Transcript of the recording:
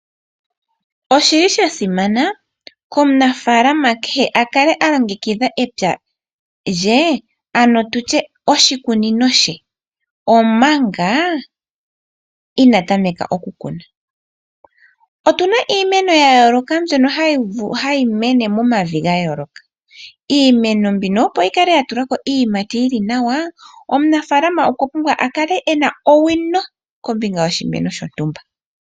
Osha simana komunafaalama kehe a kale a longekidha epya lye, ano tu tye oshikunino she, omanga inaa tameka okukuna. otu na iimeno ya yooloka mbyoka hayi mene momavi ga yooloka. Iimeno mbino opo yi kale ya tula ko iiyimati yi li nawa, omunafaalama okwa pumbwa a kale e na owino kombinga yoshimeno shontumba.